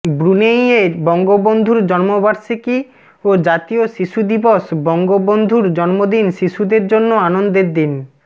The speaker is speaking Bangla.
ব্রুনেইয়ে বঙ্গবন্ধুর জন্মবার্ষিকী ও জাতীয় শিশু দিবস বঙ্গবন্ধুর জন্মদিন শিশুদের জন্য আনন্দের দিন